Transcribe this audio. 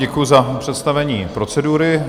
Děkuju za představení procedury.